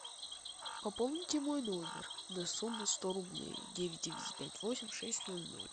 пополните мой номер на сумму сто рублей девять девять пять восемь шесть ноль ноль